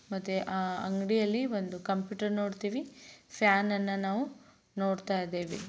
ಮತ್ತೆ ಆ ಅಂಗಡಿಯಲ್ಲಿ ಒಂದು ಕಂಪ್ಯೂಟರ್‌ ನೋಡ್ತೀವಿ ಫ್ಯಾನ್‌ನ್ನ ನಾವು ನೋಡ್ತಾ ಇದ್ದೀವಿ.